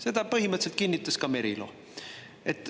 Seda põhimõtteliselt kinnitas ka Merilo.